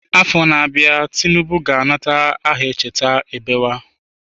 Afọ na-abịa Tinubu ga-anata aha Echeta ebewe.